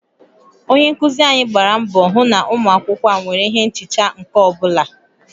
Onye nkuzi anyị gbara mbọ hụ na ụmụ akwụkwọ a nwere ihe nchicha nke ọ bụla